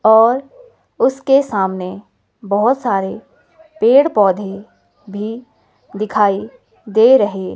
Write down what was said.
और उसके सामने बहोत सारे पेड़ पौधे भी दिखाई दे रहे --